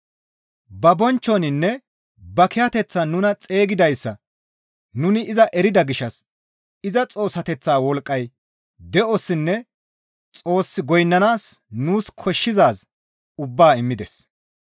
Ba bonchchoninne ba kiyateththan nuna xeygidayssa nuni iza erida gishshas iza Xoossateththaa wolqqay de7ossinne Xoos goynnanaas nuus koshshizaaz ubbaa immides.